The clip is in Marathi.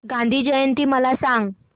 गांधी जयंती मला सांग